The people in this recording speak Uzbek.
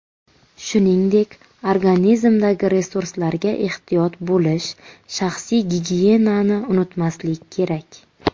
Shuningdek, organizmdagi resurslarga ehtiyot bo‘lish, shaxsiy gigiyenani unutmaslik kerak.